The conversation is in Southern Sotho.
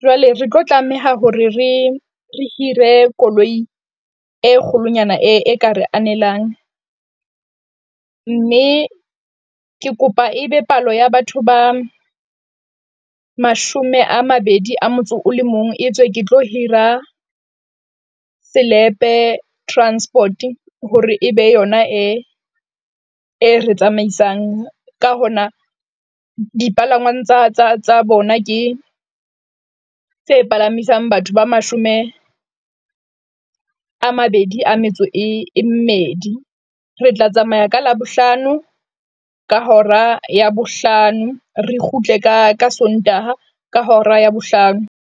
jwale re tlo tlameha hore re re hire koloi e kgolonyana e ka re anelang. Mme ke kopa ebe palo ya batho ba mashome a mabedi a motso o le mong. E tswe ke hira Selepe Transport hore ebe yona e, e re tsamaisang ka hona dipalangwang tsa bona, ke tse palamisang batho ba mashome a mabedi a metso e mmedi. Re tla tsamaya ka Labohlano ka hora ya bohlano, re kgutle ka Sontaha ka hora ya bohlano.